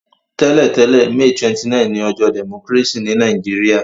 Tẹ́lẹ̀tẹ̀lẹ́, May 29 ni ojọ́ democracy ni Naijiria